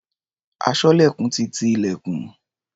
Aṣọ́lẹ̀kùn ti ti ilẹ̀kùn.